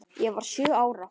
Ég var sjö ára.